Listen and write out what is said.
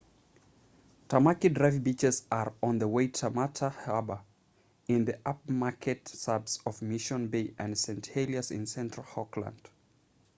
tamaki drive beaches are on the waitemata harbour in the upmarket suburbs of mission bay and st heliers in central auckland